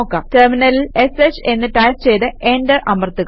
ടെർമിനലിൽ ഷ് എന്ന് ടൈപ് ചെയ്ത് എന്റർ അമർത്തുക